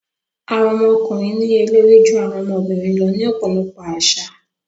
Àwọn ọmọkùnrin níye lórí ju àwọn ọmọbìnrin lọ ní ọ̀pọ̀lọpọ̀ àṣà.